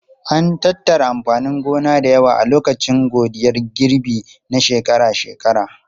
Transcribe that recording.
An tattara amfanin gona da yawa a lokacin godiyar girbi na shekara-shekara.